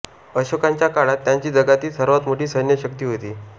अशोकांच्या काळात त्यांची जगातील सर्वात मोठी सैन्य शक्ती होती